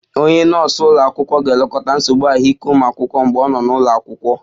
Onye nọọsụ ụlọ akwụkwọ ga-elekọta nsogbu ahụike ụmụ akwụkwọ mgbe ọ nọ n'ụlọ akwụkwọ